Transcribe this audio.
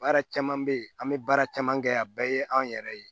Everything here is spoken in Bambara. Baara caman bɛ ye an bɛ baara caman kɛ a bɛɛ ye anw yɛrɛ ye